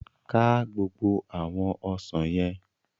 Ká gbogbo àwọn ọsàn yẹn!